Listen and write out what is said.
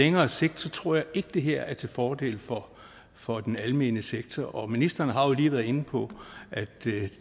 længere sigt tror jeg ikke at det her er til fordel for den almene sektor og ministeren har jo lige været inde på at